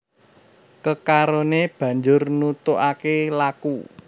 Kekaroné banjur nutugaké laku